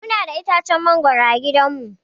Muna da itacen mangoro a gidan mu.